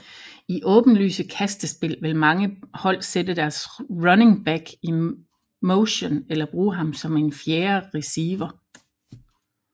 I åbenlyse kastespil vil mange hold sætte deres running back i motion eller bruge ham som en fjerde receiver